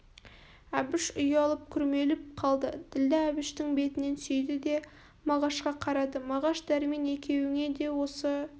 әбіш ұялып күрмеліп қалды ділдә әбіштің бетінен сүйді де мағашқа қарады мағаш дәрмен екеуіңе де осы